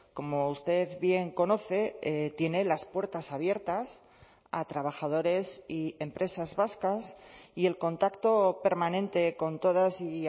como usted bien conoce tiene las puertas abiertas a trabajadores y empresas vascas y el contacto permanente con todas y